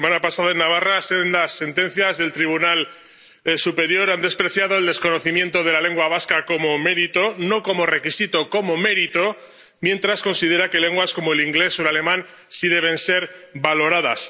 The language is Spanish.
La semana pasada, en Navarra, sendas sentencias del Tribunal Superior han despreciado el desconocimiento de la lengua vasca como mérito —no como requisito, como mérito—, mientras considera que lenguas como el inglés o el alemán sí deben ser valoradas.